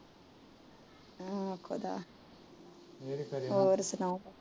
ਹੋਰ ਸੁਣਾਓ